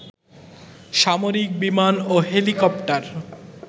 সামরিক বিমান ও হেলিকপ্টার